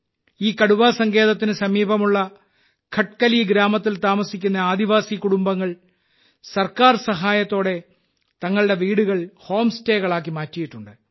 ഈ കടുവാസങ്കേതത്തിന് സമീപമുള്ള ഖട്കലി ഗ്രാമത്തിൽ താമസിക്കുന്ന ആദിവാസി കുടുംബങ്ങൾ സർക്കാർ സഹായത്തോടെ തങ്ങളുടെ വീടുകൾ ഹോം സ്റ്റേകളാക്കി മാറ്റിയിട്ടുണ്ട്